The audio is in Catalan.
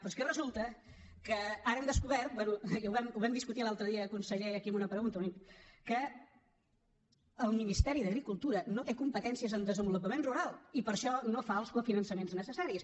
però és que resulta que ara hem descobert i ho vam discutir l’altre dia conseller aquí amb una pregunta que el ministeri d’agricultura no té competències en desenvolupament rural i per això no fa els cofinançaments necessaris